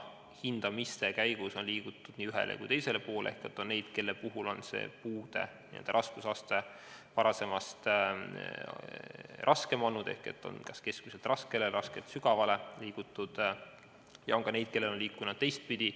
Hindamise käigus on liigutud nii ühele kui ka teisele poole ehk on nii neid, kelle puhul on puude raskusaste varasemast raskemaga asendatud – kas keskmine raskega või raske sügavaga –, kui ka neid, kelle puhul on toimitud teistpidi.